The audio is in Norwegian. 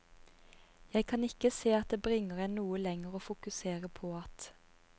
Jeg kan ikke se at det bringer en noe lenger å fokusere på at strl.